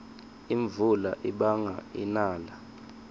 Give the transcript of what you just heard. imvula ibanga inala